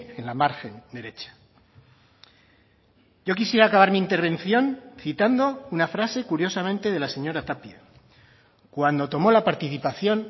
en la margen derecha yo quisiera acabar mi intervención citando una frase curiosamente de la señora tapia cuando tomó la participación